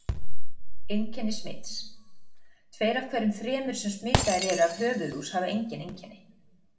Einkenni smits Tveir af hverjum þremur sem smitaðir eru af höfuðlús hafa engin einkenni.